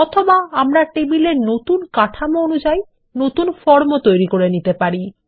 অথবা আমরা টেবিল এর নতুন কাঠামো অনুযায়ী নতুন ফর্ম ও তৈরী করে নিতে পারি